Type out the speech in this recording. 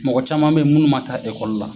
Mɔgɔ caman bɛ ye munnu man taa ekɔli la.